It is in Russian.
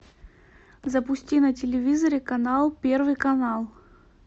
запусти на телевизоре канал первый канал